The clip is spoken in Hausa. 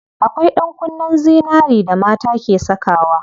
Akwai ɗankunnen zinari da mata ke sakawa.